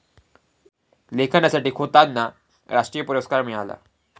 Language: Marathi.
लेखनासाठी खोतांना राष्ट्रीय पुरस्कार मिळाला.